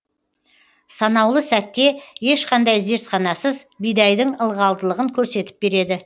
санаулы сәтте ешқандай зертханасыз бидайдың ылғалдылығын көрсетіп береді